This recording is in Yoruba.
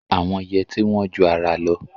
Àwọn yẹtí wọ́n ju ara lọ.